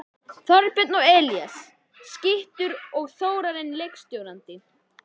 Þorbjörn og Elías skyttur og Þórarinn leikstjórnandi!